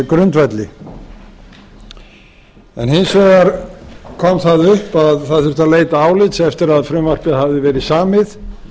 grundvelli hins vegar kom það upp að það þurfti að leita álits eftir að frumvarpið hafði verið samið